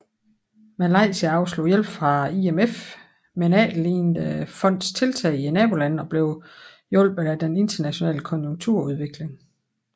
Malaysia afslog hjælp fra IMF men efterlignede fondets tiltag i nabolandene og blev hjulpet af den internationale konjunkturudvikling